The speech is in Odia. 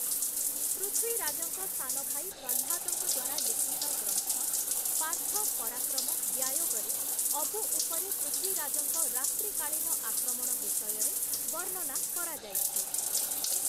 ପୃଥ୍ୱୀରାଜଙ୍କ ସାନ ଭାଇ ପ୍ରହ୍ଲାଦଙ୍କ ଦ୍ୱାରା ଲିଖିତ ଗ୍ରନ୍ଥ 'ପାର୍ଥ-ପରାକ୍ରମ-ବ୍ୟାୟୋଗ'ରେ ଅବୁ ଉପରେ ପୃଥ୍ୱୀରାଜଙ୍କ ରାତ୍ରିକାଳୀନ ଆକ୍ରମଣ ବିଷୟରେ ବର୍ଣ୍ଣନା କରାଯାଇଛି ।